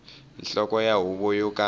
nhloko ya huvo yo ka